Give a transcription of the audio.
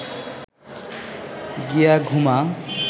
গিয়া ঘুমা